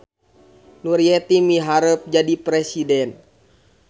Nuryeti miharep jadi presiden